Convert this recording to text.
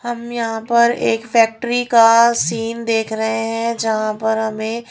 हम यहाँ पर एक फैक्ट्री का सीन देख रहे हैं जहाँ पर हमें--